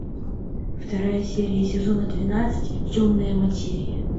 вторая серия сезона двенадцать темная материя